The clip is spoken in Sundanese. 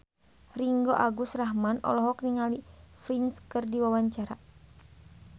Ringgo Agus Rahman olohok ningali Prince keur diwawancara